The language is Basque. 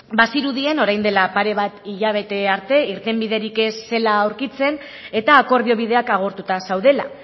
bazirudien orain dela pare bat hilabete arte irtenbiderik ez zela aurkitzen eta akordio bideak agortuta zeudela